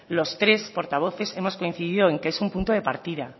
los tres portavoces hemos coincidido en que es un punto de partida